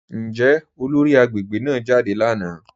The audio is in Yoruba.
Njẹ́ olóri agbegbe náà jádẹ lánà?